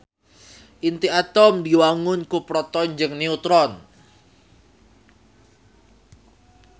Inti atom diwangun ku proton jeung neutron